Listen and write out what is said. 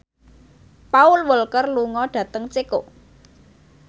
Paul Walker lunga dhateng Ceko